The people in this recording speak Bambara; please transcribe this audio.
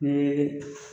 Ni